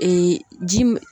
ji min